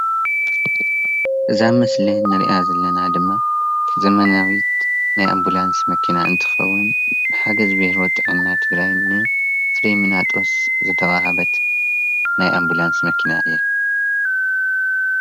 እዛ ምስሊ ንሪኣ ዘለና ድማ ዘመናዊት ናይ ኣምቡላንስ መኪና እንትኸውን ብሓገዝ ቢሮ ጥዕና ትግራይን ንፍሪምናጦስ ዝተዋህበት ናይ ኣምቡላንስ መኪና እያ፡፡